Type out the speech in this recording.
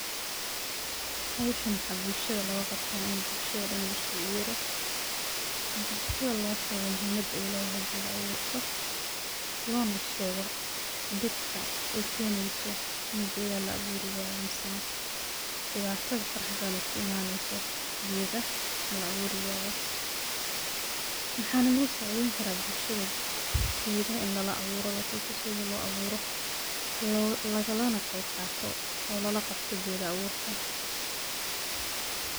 Howshan maxa bulshada loga qabta ini bulshada dhan liskugu yeero bulshada loo sheego muhiimada ay ledahay geeda abuurka, loona sheego dhibka ay keeneyso ini gedaha la abuuri wayo misena dhibatada faraha badan oo ka imaneyso gedaha ini la abuuri wayo, maxana lugu saacideyni karaa bulshada gedaha ini lala abuuro la tuso sidii loo abuuro lagala na qeb qaato oo lala qabto geeda abuurka